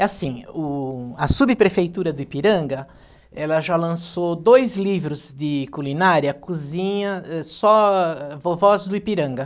É assim, o a subprefeitura do Ipiranga, ela já lançou dois livros de culinária, cozinha, só vovós do Ipiranga.